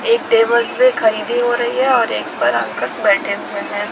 एक टेबल्स में खरीदी हो रही है और एक पे अंकल बैठे हुए हैं।